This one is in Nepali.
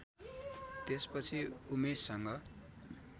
त्यसपछि उमेशसँग